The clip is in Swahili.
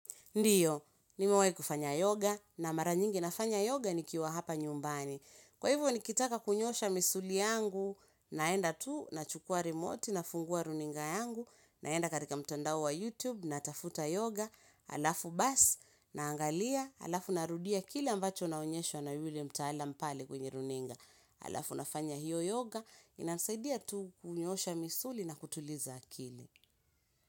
Ndiyo, nimewai kufanya yoga na mara nyingi nafanya yoga nikiwa hapa nyumbani. Kwa hivyo nikitaka kunyosha misuli yangu naenda tu nachukua remote nafungua runinga yangu naenda katika mtandao wa YouTube natafuta yoga alafu basi naangalia alafu narudia kile ambacho naonyeshwa na yule mtaalam pale kwenye runinga. Alafu nafanya hiyo yoga inasaidia tu kunyoosha misuli na kutuliza akili.